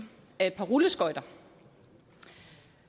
er et par rulleskøjter